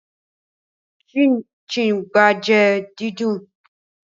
Chin gban jẹ sna didùn